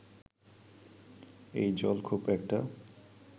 এই জল খুব একটা